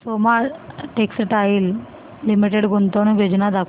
Soma textile limited गुंतवणूक योजना दाखव